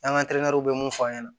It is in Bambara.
An ka bɛ mun fɔ an ɲɛna